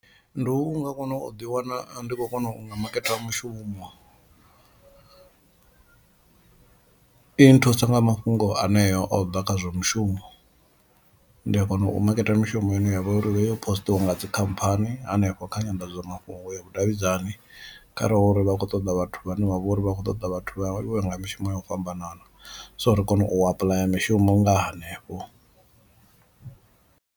Ndi u nga kona u ḓi wana ndi khou kona u nga maketa mushumo i nthusa nga mafhungo aneo o ḓa kha zwa mushumo ndi a kona u maketa mishumo ine ya vha uri heyo postiwa nga dzikhamphani hanefho kha nyandadzamafhungo ya vhudavhidzani, khare hu uri vha kho ṱoḓa vhathu vhane vha vhori vha kho ṱoḓa vhathu vho mishumo ya u fhambanana, so ri kone u apuḽaya mishumo nga hanefho.